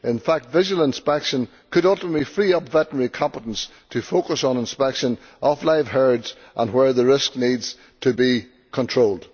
In fact, visual inspection could ultimately free up veterinary competence to focus on inspection of live herds and where the risk needs to be controlled.